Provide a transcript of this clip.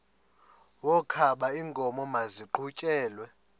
wokaba iinkomo maziqhutyelwe